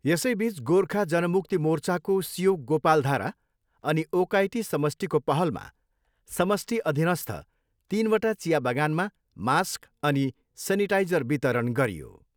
यसैबिच गोर्खा जनमुक्ति मोर्चाको सियोक गोपालधारा अनि ओकाइटी समष्टिको पहलामा समष्टि अधिनस्थ तिनवटा चियाबगानमा मास्क अनि सेनिटाइजर वितरण गरियो।